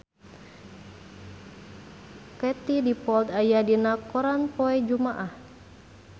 Katie Dippold aya dina koran poe Jumaah